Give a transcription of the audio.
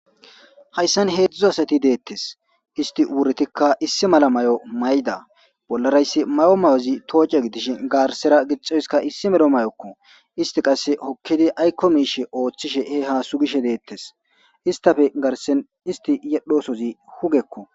Hayssan heedzdzu asati deettes isti wurtikka issi mala may'o mayda bollarayssi mayo mayozi tooce gidishin gaarsera gixoyskka issi medho mayokko isti qasse hokkidi aykko miishe ooththishe he haasu gishe deettes istafe garsen isti yedhosozi hugekko.